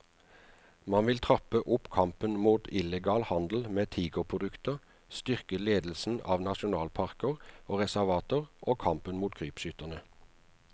Man vil trappe opp kampen mot illegal handel med tigerprodukter, styrke ledelsen av nasjonalparker og reservater og kampen mot krypskytterne.